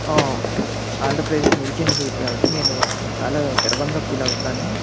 హ ఆంధ్ర ప్రదేశ్ నిల్చింది కాబట్టి నేను చాల గర్వాంగా ఫీల్ అవుతాను.